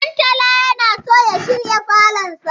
Ɗantala yana so ya shirya falonsa.